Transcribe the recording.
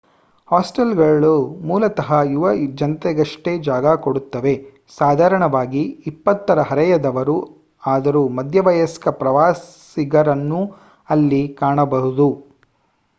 hostel ಗಳು ಮೂಲತಃ ಯುವ ಜನತೆಗಷ್ಟೇ ಜಾಗ ಕೊಡುತ್ತವೆ ಸಾಧಾರಣವಾಗಿ ಇಪ್ಪತ್ತರ ಹರಯದವರು ಆದರೂ ಮಧ್ಯವಯಸ್ಕ ಪ್ರವಾಸಿಗರನ್ನೂ ಅಲ್ಲಿ ಕಾಣಬಹುದು